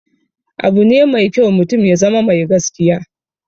Abune mai kyau mutum ya zama mai gaskiya